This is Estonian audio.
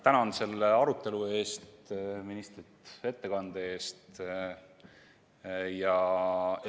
Tänan selle arutelu eest ja ministrit ettekande eest!